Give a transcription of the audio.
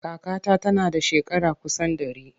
Kakata tana da shekara kusan ɗari.